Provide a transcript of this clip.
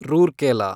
Rourkela